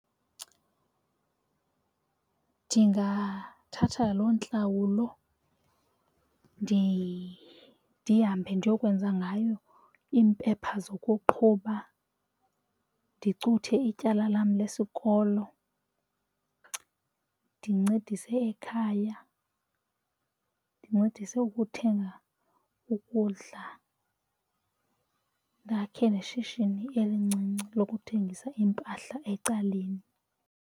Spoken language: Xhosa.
Ndingathatha loo ntlawulo ndihambe ndiyokwenza ngayo iimpepha zokuqhuba ndicuthe ityala lam lesikolo ndincedise ekhaya, ndincedise ukuthenga ukudla ndakhe neshishini elincinci lokuthengisa iimpahla ecaleni.